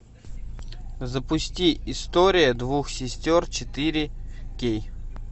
запусти история двух сестер четыре кей